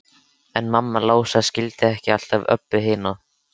En mamma hans Lása skildi ekki alltaf Öbbu hina.